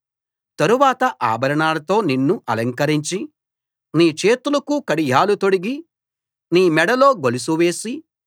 తరువాత ఆభరణాలతో నిన్ను అలంకరించి నీ చేతులకు కడియాలు తొడిగి నీ మెడలో గొలుసు వేసి